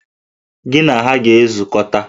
Gị na ha ga-ezukọta!